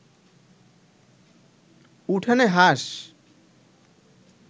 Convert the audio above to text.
উঠানে হাঁস